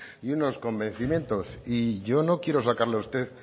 y unos convencimientos y yo no quiero sacarle a usted